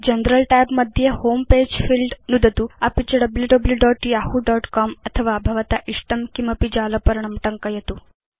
general tab मध्ये home page field इत्यत्र नुदतु अपि च wwwyahoocom अथवा भवता इष्टं किमपि जालपर्णं टङ्कयतु